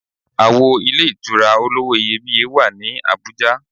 Àwo ilé ìtura olówó iyebíye wà ní Àbújá.